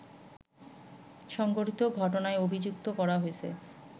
সংঘটিত ঘটনায় অভিযুক্ত করা হয়েছে